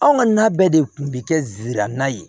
Anw ka na bɛɛ de kun bi kɛ zirame ye